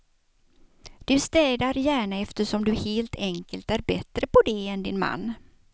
Du städar gärna eftersom du helt enkelt är bättre på det än din man.